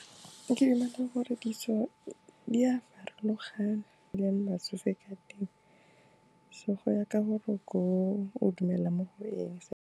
Ke dumela gore ditso di a farologana, go dula le batsofe ka teng, so goya ka gore ko o dumelang mo go eng e.